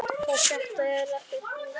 Og þetta er ekkert nýtt.